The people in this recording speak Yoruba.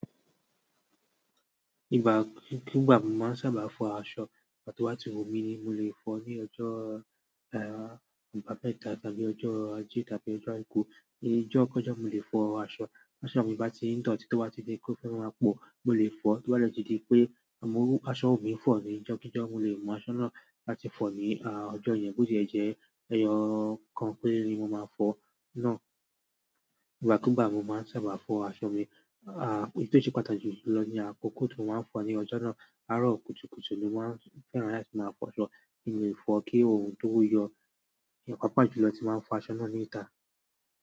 Ìgbà ki gbà mo máa ń sábà fọ aṣọ, ìgbà tí wá tí ń wu mí ni mo lè fọ ní ọjọ́ ah- ibamẹ́ta tàbí ọjọ́ Ajé tàbí ọjọ́ Àìkú ni ọjọ́ kọ́jọ̀ mo lè fọ aṣọ. Aṣọ mi bá ti ń dọ̀tí tó bá ti dé ó fẹ́ máa po, mo lè fọ. Tí ọ́n bá dẹ̀ tí di pé oun aṣọ wumi fọ ní ọjọ́ kijọ mo lè mú aṣọ náà láti fọ ní ah ọjọ́ yẹn bó ti ẹ̀ jẹ́ ẹyọ kan péré ni mo máa fọ náà. Ìgbà kúú gbà mo máa ń sábà fọ aṣọ mi. Ah ìyí tí ó ṣe pàtàkì jù lọ ni àkókò tí mo máa ń fọ ní ọjọ́ náà, arọ kùtùkùtù ni mo máa ń fẹ́ràn láti máa fọ ṣọ. Èmi ò fọ kí orun tó yọ yàn pàápàá jùlọ tí máa ń fọ aṣọ náà ní ìta.